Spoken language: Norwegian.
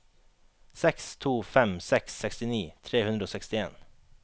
seks to fem seks sekstini tre hundre og sekstien